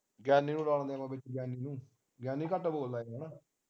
ਗਿਆਨੀ ਨੂੰ ਲਾ ਲੈਣੇ ਆਪਾ ਵਿੱਚ ਗਿਆਨੀ ਨੂੰ ਗਿਆਨੀ ਘਟ ਬੋਲਦਾ ਹਨਾ